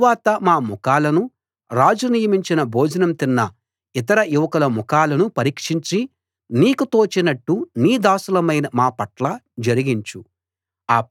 తరువాత మా ముఖాలను రాజు నియమించిన భోజనం తిన్న ఇతర యువకుల ముఖాలను పరీక్షించి నీకు తోచినట్టు నీ దాసులమైన మా పట్ల జరిగించు